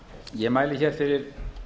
ég mæli fyrir